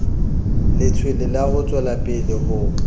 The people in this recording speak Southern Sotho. letshwele ha o tswelapele ho